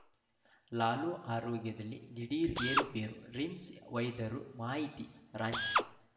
ಲಾಲು ಆರೋಗ್ಯದಲ್ಲಿ ದಿಢೀರ್‌ ಏರುಪೇರು ರಿಮ್ಸ್‌ ವೈದ್ಯರ ಮಾಹಿತಿ ರಾಂಚಿ